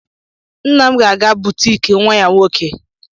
Nna m ga-aga na butiiki nwa ya nwoke.